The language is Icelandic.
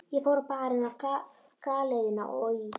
Ég fór á Barinn, á Galeiðuna og í